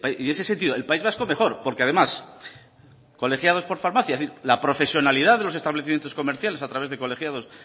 en ese sentido el país vasco mejor porque además colegiados de farmacia es decir la profesionalidad de los establecimientos comerciales a través de colegiados